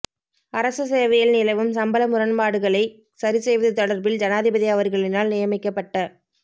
அரச சேவையில் நிலவும் சம்பள முரண்பாடுகளை சரி செய்வது தொடர்பில் ஜனாதிபதி அவர்களினால் நியமிக்கப்பட்ட